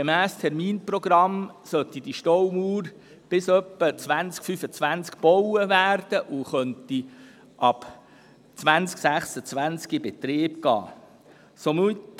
Gemäss Terminprogramm sollte diese Staumauer bis etwa zum Jahr 2025 gebaut worden sein, sodass sie ab dem Jahr 2026 in Betrieb genommen werden kann.